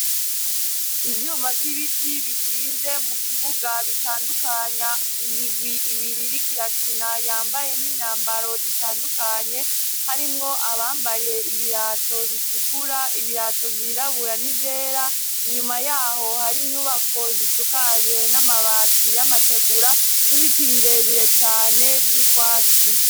Ivyuma vy'ibiti bishinze mu kibuga bitandukanya imigwi ibiriri kirakina yambaye n'imyambaro itandukanye harimwo abambaye ibirato bitukura ibirato vyirabura n'ivyera inyuma yaho hari inyubako zisukajwe n'amabati y'amategura nibiti birebire cane vy'ubwatsi.